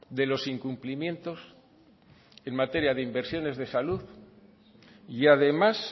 de los incumplimientos en materia de inversiones de salud y además